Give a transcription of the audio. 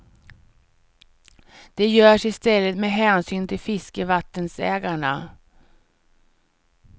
Det görs i stället med hänsyn till fiskevattensägarna.